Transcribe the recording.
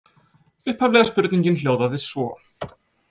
Upphaflega spurningin hljóðaði svo: